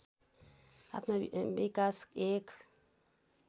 आत्मविकास एक